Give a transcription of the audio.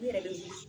N yɛrɛ bɛ wili